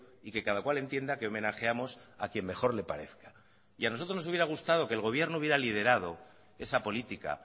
y que cada cual entienda que homenajeamos a quien mejor le parezca y a nosotros nos hubiera gustado que el gobierno hubiera liderado esa política